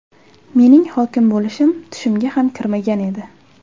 Mening hokim bo‘lishim tushimga ham kirmagan edi.